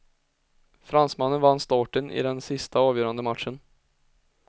Fransmannen vann starten i den sista avgörande matchen.